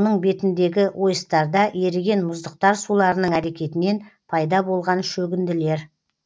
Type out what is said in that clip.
оның бетіндегі ойыстарда еріген мұздықтар суларының әрекетінен пайда болған шөгінділер